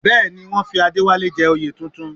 Bẹ́ẹ̀ ni, wọ́n fi Adéwálé jẹ oyè tuntun